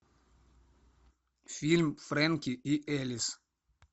фильм фрэнки и элис